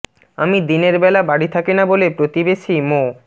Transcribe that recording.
আমি দিনের বেলা বাড়ি থাকি না বলে প্রতিবেশী মো